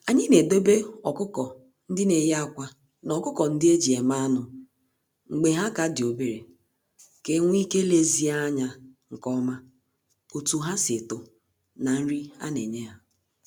Anyị na edobe ọkụkọ-ndị-neyi-ákwà, na ọkụkọ-ndị-eji-eme-anụ mgbe ha ka di obere, ka enwee ike lezie anya nke oma otu ha si eto, na nri a na enye ha.